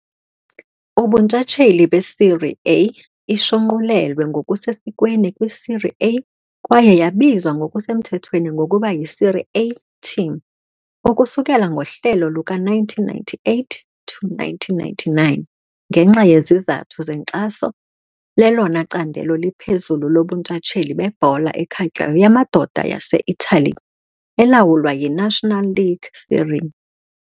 Ubuntshatsheli beSerie A, ishunqulelwe ngokusesikweni kwiSerie A kwaye yabizwa ngokusemthethweni ngokuba yiSerie A TIM ukusukela ngohlelo luka -1998-1999 ngenxa yezizathu zenkxaso, lelona candelo liphezulu lobuntshatsheli bebhola ekhatywayo yamadoda yaseItali, elawulwa yiNational League Serie.